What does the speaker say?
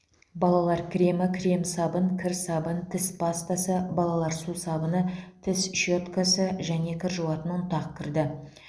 балалар кремі крем сабын кір сабын тіс пастасы балалар сусабыны тіс щеткасы кір жуатын ұнтақ кірді